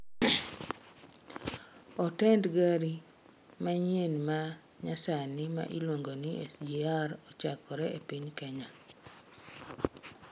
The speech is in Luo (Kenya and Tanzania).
Otend gari manyien ma nyasani ma iluongo ni SGR ochakore e piny Kenya